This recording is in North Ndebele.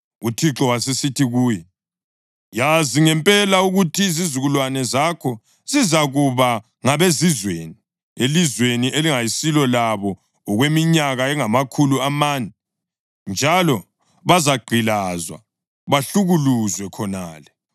UThixo wasesithi kuye, “Yazi ngempela ukuthi Izizukulwane zakho zizakuba ngabezizweni elizweni elingayisilo labo okweminyaka engamakhulu amane, njalo bazagqilazwa, bahlukuluzwe khonale.